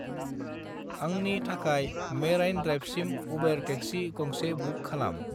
आंनि थाखाय मेराइन ड्राइबसिम उबेर टेक्सि गंसे बुक खालाम।